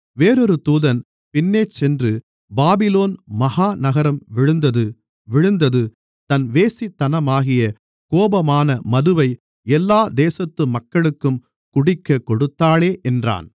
வேறொரு தூதன் பின்னேசென்று பாபிலோன் மகா நகரம் விழுந்தது விழுந்தது தன் வேசித்தனமாகிய கோபமான மதுவை எல்லா தேசத்து மக்களுக்கும் குடிக்கக் கொடுத்தாளே என்றான்